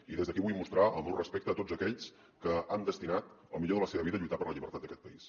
i des d’aquí vull mostrar el meu respecte a tots aquells que han destinat el millor de la seva vida a lluitar per la llibertat d’aquest país